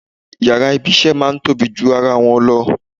Yàrá ibi-iṣẹ́ a máa tóbi ju ara wọn lọ.